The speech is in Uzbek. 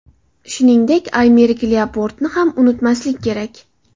Shuningdek, Aymerik Lyaportni ham unutmaslik kerak.